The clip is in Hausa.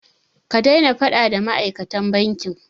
Ka daina faɗa da ma'aikatan bankin!